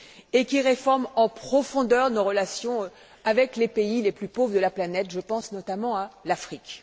et qui réforme en profondeur nos relations avec les pays les plus pauvres de la planète, et je pense notamment à l'Afrique.